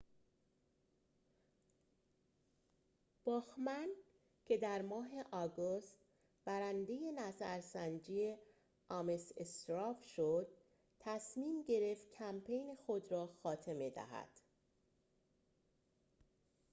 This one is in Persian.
باخمن که در ماه آگوست برنده نظرسنجی آمس استراو شد تصمیم گرفت کمپین خود را خاتمه دهد